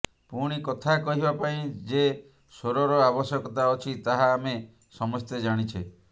ପୁଣି କଥା କହିବା ପାଇଁ ଯେ ସ୍ୱରର ଆବଶ୍ୟକତା ଅଛି ତାହା ଆମେ ସମସ୍ତେ ଜାଣିଛେ